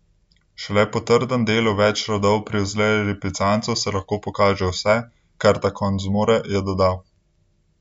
Šele po trdem delu več rodov pri vzreji lipicancev se lahko pokaže vse, kar ta konj zmore, je dodal.